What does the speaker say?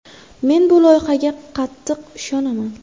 Men bu loyihaga juda qattiq ishonaman.